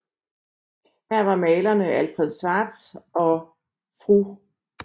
Her var malerne Alfred Schwarz og Fr